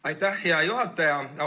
Aitäh, hea juhataja!